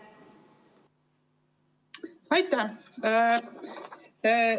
Aitäh!